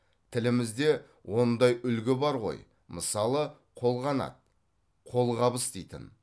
тілімізде ондай үлгі бар ғой мысалы қолғанат қолғабыс дейтін